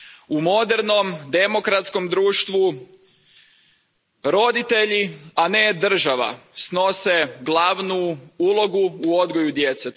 U modernom demokratskom društvu roditelji, a ne država, snose glavnu ulogu u odgoju djece.